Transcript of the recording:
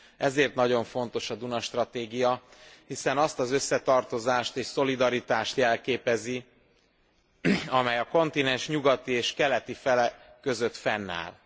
Ezért nagyon fontos a Duna stratégia, hiszen azt az összetartozást és szolidaritást jelképezi, amely a kontinens nyugati és keleti fele között fennáll.